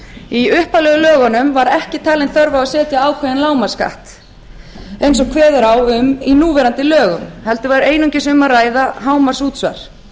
í upphaflegu lögunum var ekki talin þörf á að setja ákveðinn lágmarksskatt eins og kveður á um í núverandi lögum heldur var einungis um að ræða hámarksútsvar